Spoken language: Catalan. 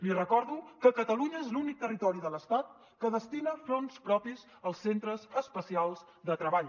li recordo que catalunya és l’únic territori de l’estat que destina fons propis als centres especials de treball